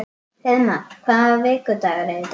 Hreiðmar, hvaða vikudagur er í dag?